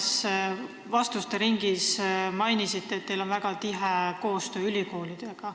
Te mainisite eelmises vastuste ringis, et teil on väga tihe koostöö ülikoolidega.